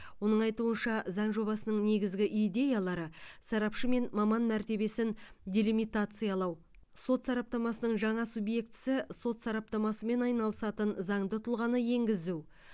оның айтуынша заң жобасының негізгі идеялары сарапшы мен маман мәртебесін делимитациялау сот сараптамасының жаңа субъектісі сот сараптамасымен айналысатын заңды тұлғаны енгізу